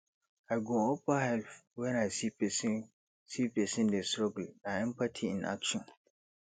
i go offer help when i see pesin see pesin dey struggle na empathy in action